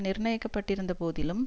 நிர்ணயிக்கப்பட்டிருந்த போதிலும்